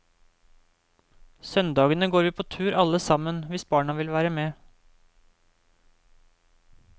Søndagene går vi på tur alle sammen hvis barna vil være med.